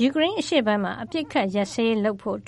ယူကရိန်းအရှေ့ပိုင်းမှာ အပစ်အခတ်ရပ်စဲရေး လုပ်ဆောင်ဖို့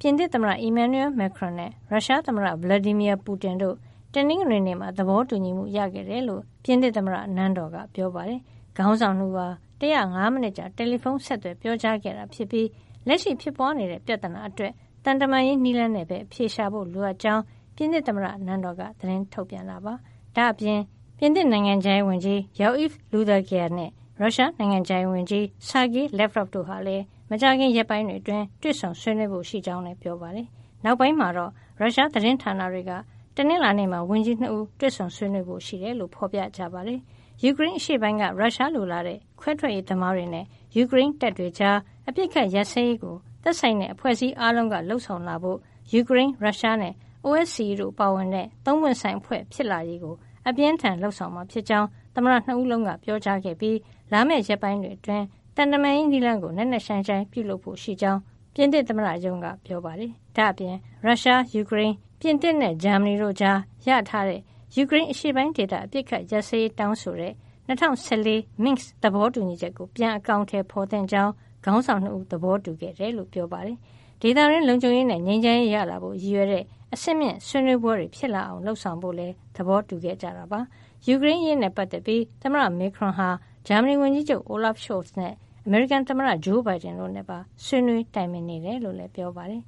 ပြင်သစ်သမ္မတ Emmanuel Macron နဲ့ ရုရှားသမ္မတ Vladimir Putin တို့ တနင်္ဂနွေနေ့မှာ သဘောတူညီမှု ရခဲ့တယ်လို့ ပြင်သစ်သမ္မတနန်းတော်က ပြောပါတယ်။ ခေါင်းဆောင် ၂ ဦးဟာ ၁၀၅ မိနစ်ကြာ တယ်လီဖုန်း ဆက်သွယ်ပြောကြားခဲ့တာဖြစ်ပြီး လက်ရှိဖြစ်ပွားနေတဲ့ ပြဿနာအတွက် သံတမန်ရေး နည်းလမ်းနဲ့ပဲ အဖြေရှာဖို့ လိုအပ်ကြောင်း ပြင်သစ်သမ္မတနန်းတော်က သတင်းထုတ်ပြန်တာပါ။ ဒါ့အပြင် ပြင်သစ်နိုင်ငံခြားရေးဝန်ကြီး Jean-Yves Le Drian နဲ့ ရုရှားနိုင်ငံခြားရေးဝန်ကြီး Sergei Lavrov တို့ဟာလည်း မကြာခင်ရက်ပိုင်းအတွင်း တွေ့ဆုံဆွေးနွေးဖို့ ရှိကြောင်းလည်း ပြောပါတယ်။ နောက်ပိုင်းမှာတော့ ရုရှားသတင်းဌာနတွေကလည်း တနင်္လာနေ့မှာ ဝန်ကြီး ၂ ဦး ဆွေးနွေးဖို့ရှိကြောင်း ဖော်ပြကြပါတယ်။ ယူကရိန်းအရှေ့ပိုင်းက ရုရှားလိုလားတဲ့ ခွဲထွက်ရေးသမားတွေနဲ့ ယူကရိန်းတပ်တွေကြား အပစ်အခတ်ရပ်စဲရေးကို သက်ဆိုင်တဲ့ အဖွဲ့အစည်းအားလုံးက လုပ်ဆောင်လာဖို့ ယူကရိန်း၊ ရုရှားနဲ့ OSCE တို့ပါဝင်တဲ့ သုံးပွင့်ဆိုင်အဖွဲ့ ဖြစ်လာရေးကို အပြင်းအထန် လုပ်ဆောင်မှာဖြစ်ကြောင်း သမ္မတ ၂ ဦးစလုံးက ပြောကြားခဲ့ပြီး လာမယ့် ရက်ပိုင်းတွေအတွင်း သံတမန်ရေးနည်းလမ်းကို နက်နက်ရှိုင်းရှိုင်းပြုလုပ်ဖို့ ရှိကြောင်း ပြင်သစ်သမ္မတရုံးက ပြောပါတယ်။ ဒါ့အပြင် ရုရှား၊ ယူကရိန်း၊ ပြင်သစ်နဲ့ ဂျာမနီတို့ကြား ရထားတဲ့ ယူကရိန်းအရှေ့ပိုင်းဒေသ အပစ်အခတ်ရပ်စဲရေး တောင်းဆိုတဲ့ ၂၀၁၄ Minsk သဘောတူညီချက်ကို ပြန်လည်အကောင်ထည်ဖော်သင့်ကြောင်း ခေါင်းဆောင် ၂ ဦးက သဘောတူခဲ့ကြောင်းလည်း ပြောပါတယ်။ ဥရောပဒေသတွင်း လုံခြုံရေးနဲ့ ငြိမ်းချမ်းရေး ရလာစေဖို့ ရည်ရွယ်တဲ့ အဆင့်မြင့်ဆွေးနွေးပွဲတွေ ဖြစ်လာအောင် လုပ်ဆောင်ဖို့လည်း သဘောတူခဲ့ကြတယ်လို့ ဆိုပါတယ်။ ယူကရိန်းအရေးနဲ့ ပတ်သက်ပြီး သမ္မတ Macron ဟာ ဂျာမနီဝန်ကြီးချုပ် Olaf Scholz၊ အမေရိကန်သမ္မတ ဂျိုးဘိုင်ဒန်နဲ့ပါ ဆွေးနွေးတိုင်ပင်နေတယ်လို့လည်း ပြောပါတယ်။